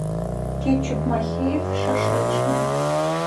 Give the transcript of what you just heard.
кетчуп махеев шашлычный